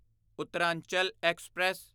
Uttaranchal express